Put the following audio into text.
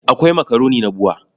Akwai makaroni na BUA.